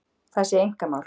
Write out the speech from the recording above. Það sé einkamál